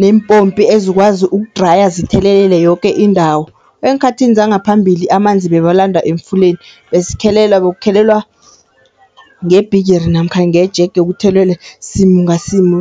nempopi ezikwazi ukudraya zithelelele yoke indawo. Eenkhathini zangaphambili amanzi bebalanda emfuleni besikhelela, bekuphelelwa ngebhigiri namkha ngejege kuthelelelwe simu ngasimu.